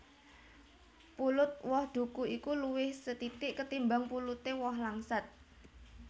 Pulut woh duku iku luwih sethithik ketimbang puluté woh langsat